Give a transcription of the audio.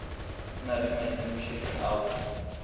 na le maikemišetšo a go